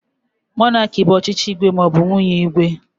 Monarki bụ ọchịchị igwe maọbu nwunye igwe.